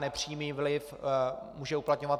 Nepřímý vliv může uplatňovat